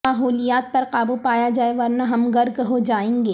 ماحولیات پر قابو پایا جائے ورنہ ہم غرق ہوجائیں گے